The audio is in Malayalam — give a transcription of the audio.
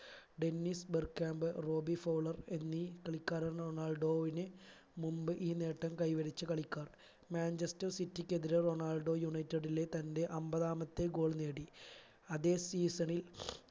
Dennis Bergkamp Robbie Fowler എന്നീ കളിക്കാർ റൊണാൾഡോവിന് മുമ്പ് ഈ നേട്ടം കൈവരിച്ച കളിക്കാർ മാഞ്ചസ്റ്റർ city ക്കെതിരെ റൊണാൾഡോ united ലെ തന്റെ അൻപതാമത്തെ goal നേടി അതെ season ൽ